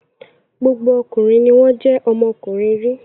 Gbogbo ọkùnrin ni wọ́n jẹ́ ọmọkùnrin rí.